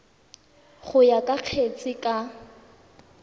go ya ka kgetse ka